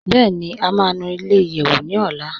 Bẹẹni, à má nù ilẹ̀-ìyẹ́wù ní ọ̀là.